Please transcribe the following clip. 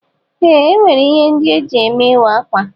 Ee, enwere ihe ndị eji eme ịwa ákwà.